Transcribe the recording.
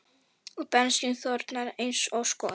Og bensín þornar eins og skot.